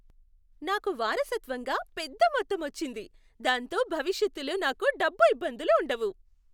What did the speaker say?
నాకు వారసత్వంగా పెద్ద మొత్తం వచ్చింది, దాంతో భవిష్యత్తులో నాకు డబ్బు ఇబ్బందులు ఉండవు.